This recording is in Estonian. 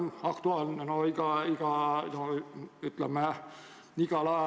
See on kogu ühiskonna jaoks võib-olla väike kitsaskoht, aga kurtide jaoks hästi oluline ja suur teema, mis tuleks lahendada.